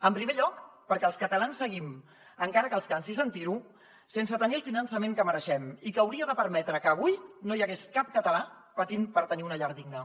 en primer lloc perquè els catalans seguim encara que els cansi sentir ho sense tenir el finançament que mereixem i que hauria de permetre que avui no hi hagués cap català patint per tenir una llar digna